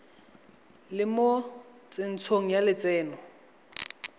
le mo tsentsho ya lotseno